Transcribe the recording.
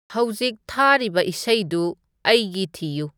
ꯍꯧꯖꯤꯛ ꯊꯥꯔꯤꯕ ꯏꯁꯩꯗꯨ ꯑꯩꯒꯤ ꯊꯤꯌꯨ